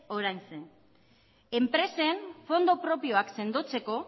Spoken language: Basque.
oraintxe enpresen fondo propioak sendotzeko